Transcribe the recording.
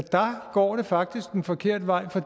går det faktisk den forkerte vej for